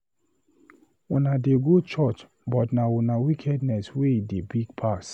Una dey go church but na una wickedness wey dey big pass